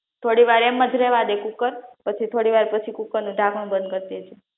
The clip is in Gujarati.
થોડી વાર એમ જ રહેવા દે કુકર પછી થોડી વાર પછી કુકરનું ઢાંકણું બંધ કર દે